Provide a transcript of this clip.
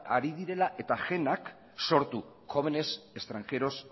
ari direla eta jena sortu jóvenes extranjeros